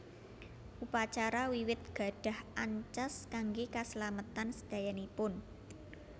Upacara wiwit gadhah ancas kangge kaslametan sedayanipun